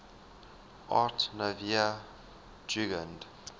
art nouveau jugend